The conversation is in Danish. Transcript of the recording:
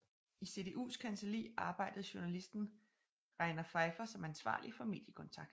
I CDUs kancelli arbejdede journalisten Reiner Pfeiffer som ansvarlig for mediekontakt